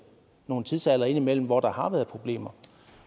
nogle tidsaldre indimellem hvor der har været problemer